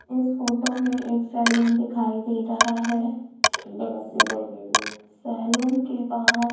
इस फोटो में एक सैलून दिखाई दे रहा है सैलून के बाहर --